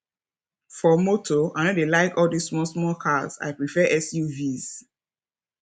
for motor i no dey like all this small small cars i prefer suvs